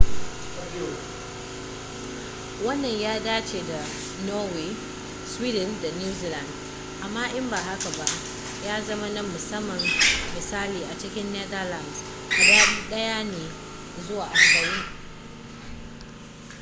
wannan ya dace da norway sweden da new zealand amma in ba haka ba ya zama na musamman misali a cikin netherlands adadi ɗaya ne zuwa arba'in